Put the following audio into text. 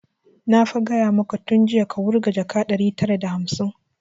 Na fa gaya maka tun jiya ka wurga jaka ɗari tara da hamsin!